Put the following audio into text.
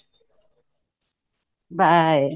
bye